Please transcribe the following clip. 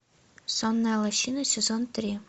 сонная лощина сезон три